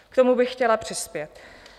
K tomu bych chtěla přispět.